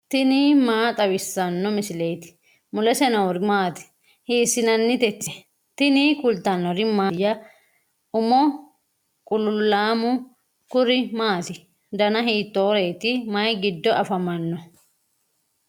tini maa xawissanno misileeti ? mulese noori maati ? hiissinannite ise ? tini kultannori mattiya? Umo qululaammu kuri maatti? danna hittoreetti? Mayi giddo affammanno?